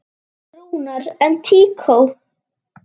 Rúnar: En tíkó?